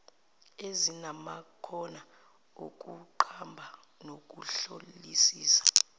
ezinamakhono okuqamba nokuhlolisisa